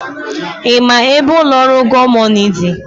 Ị ma ebe ụlọ ọrụ Gomoney dị?